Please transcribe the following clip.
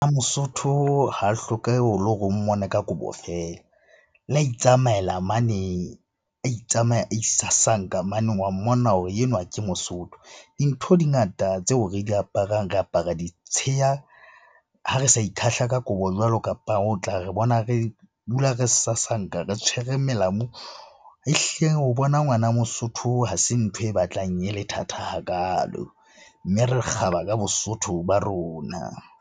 Mosotho ha hlokehe le hore o mmona ka kobo feela. Le ha itsamaela mane, a a isasanka mane wa mmona hore enwa ke mosotho. Dintho di ngata tseo re di aparang. Re apara ditsheya ha re sa ikhahla ka kobo jwalo o tla re bona re dula re sasanka re tshwere melamu. Ehlile ho bona ngwana mosotho ha se ntho e batlang e le thata hakalo. Mme re kgaba ka bosotho ba rona.